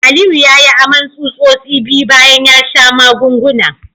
Aliyu yayi aman tsutsosi biyu bayan ya sha magungunan